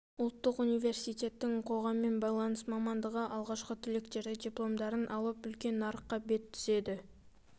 ұлттық университеттің қоғаммен байланыс мамандығы алғашқы түлектері дипломдарын алып үлкен нарыққа бет түзеді